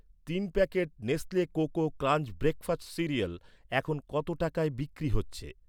তিন packet Nestle cocoa crunch breakfast cereal এখন কত টাকায় বিক্রি হচ্ছে?